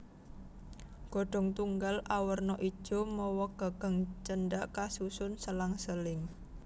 Godhong tunggal awerna ijo mawa gagang cendhak kasusun selang seling